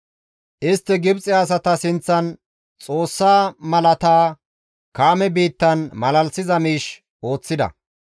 Istti Gibxe asata sinththan Xoossa malaata, Kaame biittan malalisiza miish ooththida.